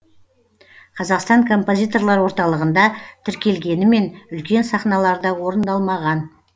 қазақстан композиторлар орталығында тіркелгенімен үлкен сахналарда орындалмаған